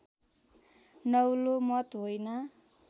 नौलो मत होइन